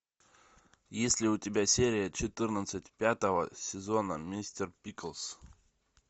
есть ли у тебя серия четырнадцать пятого сезона мистер пиклз